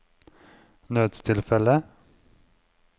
nødstilfelle